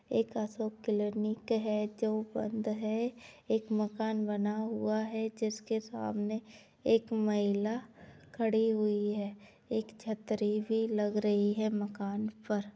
एक अशोक क्लिनिक है जो बंद है। एक मकान बना हुआ है जिसके सामने एक महिला खड़ी हुई है। एक छतरी भी लग रही है। मकान पर --